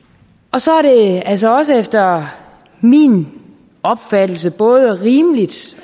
så er det altså også efter min opfattelse både rimeligt